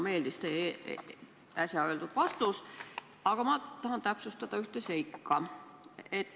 Mulle väga meeldis teie äsja öeldud vastus, aga ma tahan täpsustada ühte seika.